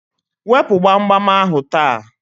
Wepu gbamgbam ahụ taa!